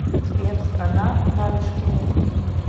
сбер страна нарышкины